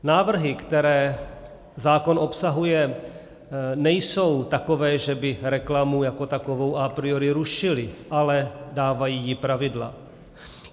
Návrhy, které zákon obsahuje, nejsou takové, že by reklamu jako takovou a priori rušily, ale dávají jí pravidla.